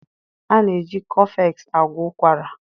a na-eji cofex agwọ ụkwara.